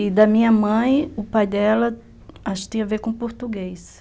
E da minha mãe, o pai dela, acho que tinha a ver com português.